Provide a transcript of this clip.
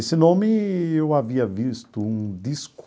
Esse nome eu havia visto um